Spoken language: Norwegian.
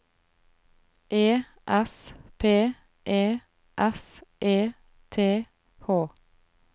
E S P E S E T H